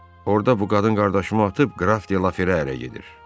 Orada bu qadın qardaşımı atıb qraf de Laferə ərə gedir.